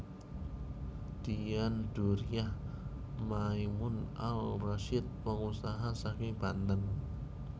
Dian Djuriah Maimun Al Rasyid pengusaha saking Banten